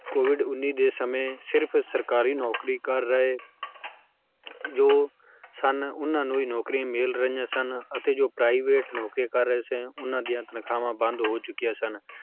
COVID ਉੱਨੀ ਦੇ ਸਮੇਂ ਸਿਰਫ਼ ਸਰਕਾਰੀ ਨੌਕਰੀ ਕਰ ਰਹੇ ਜੋ ਸਨ ਉਹਨਾਂ ਨੂੰ ਹੀ ਨੌਕਰੀਆਂ ਮਿਲ ਰਹੀਆਂ ਸਨ ਅਤੇ private ਨੌਕਰੀਆਂ ਕਰ ਰਹੇ ਸੀ ਉਹਨਾਂ ਦੀ ਤਨਖਾਹਾਂ ਬੰਦ ਹੋ ਗਈਆਂ ਸਨ